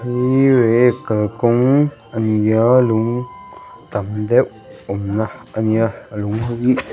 heihi lei kalkawng a ni a lung tam deuh awmna a ni a lung ho hi--